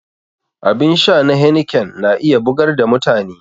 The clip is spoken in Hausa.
Abin sha na heineken na iya bugar da mutane